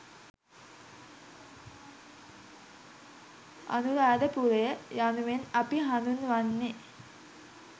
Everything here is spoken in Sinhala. අනුරාධපුරය යනුවෙන් අපි හඳුන්වන්නේ